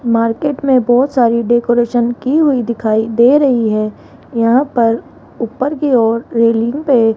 market में बहोत सारी डेकोरेशन की हुई दिखाई दे रही है यहां पर ऊपर की ओर रेलिंग पे --